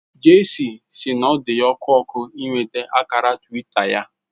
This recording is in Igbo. Jesse si n'odiya oku oku inweta akara twita ya